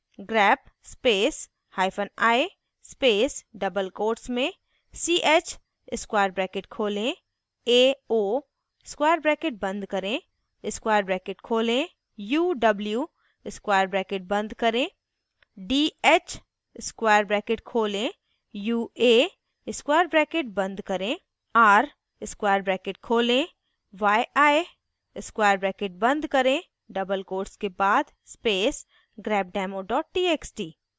grep space hyphen i space double quotes में ch square bracket खोलें ao square bracket बंद करें square bracket खोलें uw square bracket बंद करें dh square bracket खोलें ua square bracket बंद करें r square bracket खोलें yi square bracket बंद करें double quotes के बाद space grepdemo txt